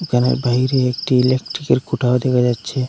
এখানে বাহিরে একটি ইলেকট্রিকের খুঁটাও দেখা যাচ্ছে।